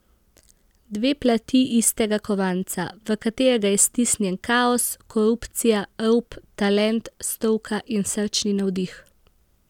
Dve plati istega kovanca, v katerega je stisnjen kaos, korupcija, rop, talent, stroka in srčni navdih.